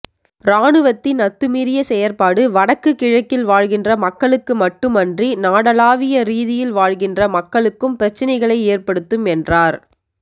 இராணுவத்தின் அத்துமீறிய செயற்பாடு வடக்கு கிழக்கில் வாழ்கின்ற மக்களுக்கு மட்டுமன்றி நாடளாவிய ரீதியில் வாழ்கின்ற மக்களுக்கும் பிரச்சினைகளை ஏற்படுத்தும் என்றார்